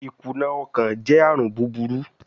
Ikuna ọkan jẹ arun buburu